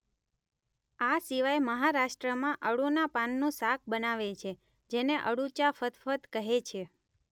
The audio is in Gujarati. આ સિવાય મહારાષ્ટ્રમાં અળૂના પાનનું શાક બનાવે છે જેને અળૂચા ફદફદ કહે છે.